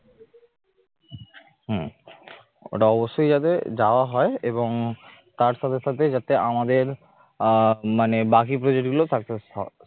হম ওটা অবশ্যই যাতে যাওয়া হয় এবং তার সাথে সাথে যাতে আমাদের আহ মানে বাকি project গুলো success হয়